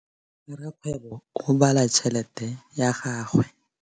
Rakgwêbô o bala tšheletê ya gagwe.